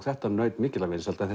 þetta naut mikilla vinsælda en